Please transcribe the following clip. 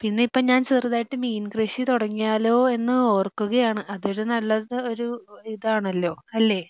പിന്നെ ഇപ്പം ഞാൻ ചെറുതായിട്ട് മീൻ കൃഷി തുടങ്ങിയാലോ എന്ന് ഓർക്കുകയാണ് അതൊരു നല്ല ഇത് ആണല്ലോ അല്ലേ?